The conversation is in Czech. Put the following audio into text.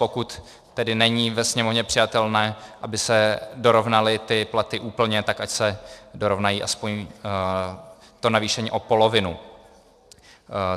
Pokud tedy není ve Sněmovně přijatelné, aby se dorovnaly ty platy úplně, tak ať se dorovnají aspoň, to navýšení, o polovinu.